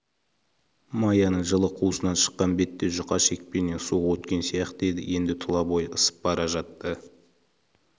маяның жылы қуысынан шыққан бетте жұқа шекпеннен суық өткен сияқты еді енді тұла бойы ысып бара жатты